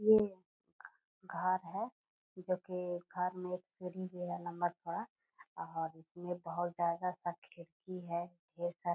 ये घर है जो कि घर में एक सीढ़ी भी है लंबा चौड़ा और इसमें बहोत ज्यादा सा खिड़की है ढेर सारा --